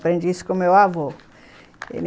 Aprendi isso com o meu avô.